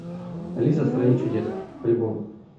алиса в стране чудес альбом